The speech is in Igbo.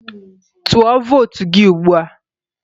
Tụọ vootu gị ugbua!